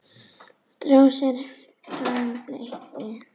Drósir hvarma bleyta.